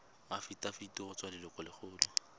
afitafiti go tswa go lelokolegolo